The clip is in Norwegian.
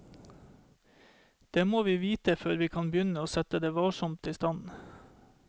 Det må vi vite før vi kan begynne å sette det varsomt i stand.